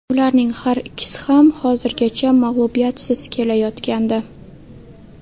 Ularning har ikkisi ham hozirgacha mag‘lubiyatsiz kelayotgandi.